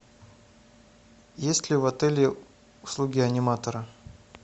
есть ли в отеле услуги аниматора